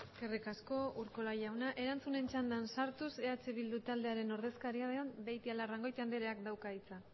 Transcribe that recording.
eskerrik asko urkola jauna erantzunen txandan sartuz eh bildu taldearen ordezkaria den beitialarrangoitia andreak dauka hitza